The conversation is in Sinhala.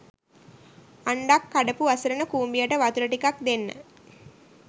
අන්ඩක් කඩපු අසරණ කුඹියට වතුර ටිකක් දෙන්න